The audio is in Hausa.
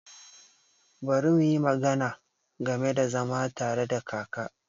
Bari muyi magana game da zama tare da kaka.